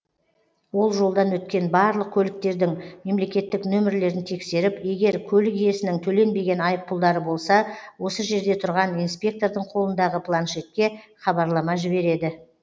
ол жолдан өткен барлық көліктердің мемлекеттік нөмірлерін тексеріп егер көлік иесінің төленбеген айыппұлдары болса осы жерде тұрған инспектордың қолындағы планшетке хабарлама жібереді